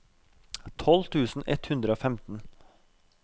tolv tusen ett hundre og femten